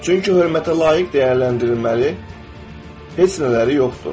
Çünki hörmətə layiq dəyərləndirilməli heç nələri yoxdur.